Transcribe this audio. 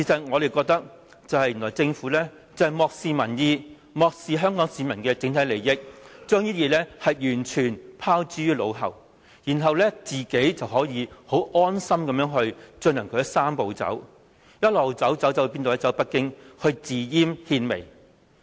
我們認為政府漠視民意、漠視香港市民的整體利益，將這些原則完全拋諸腦後，然後可以十分安心地進行其"三步走"，一直走、一直走，走到哪裏呢？